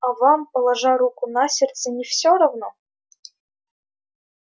а вам положа руку на сердце не всё равно